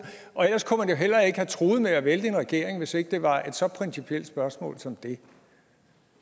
og ellers kunne man jo heller ikke have truet med at vælte en regering hvis det ikke var et så principielt spørgsmål som det